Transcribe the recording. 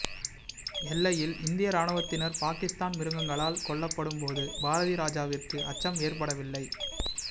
எல்லையில் இந்திய ராணுவத்தினர் பாகிஸ்தான் மிருகங்களால் கொல்லப்பட்டும் போது பாரதி ராஜாவிற்கு அச்சம் ஏற்படவில்லை